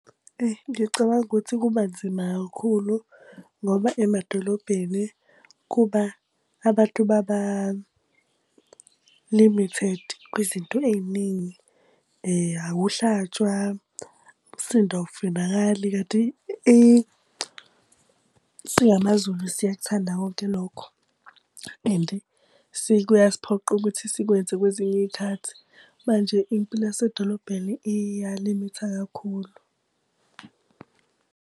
Ngicabanga ukuthi kuba nzima kakhulu ngoba emadolobheni kuba abantu baba limited kwizinto ey'ningi. Akuhlatshwa, umsindo awufunakali kanti siyamaZulu siyakuthanda konke ilokho. And kuyasiphoqa ukuthi sikwenze kwezinye iy'khathi. Manje impilo yasedolobheni iyalimitha kakhulu.